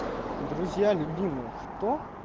друзья любимые кто